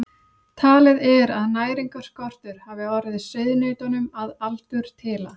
Talið er að næringarskortur hafi orðið sauðnautunum að aldurtila.